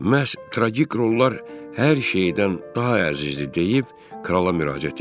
Məhz traqik rollar hər şeydən daha əzizdir deyib krala müraciət etdi.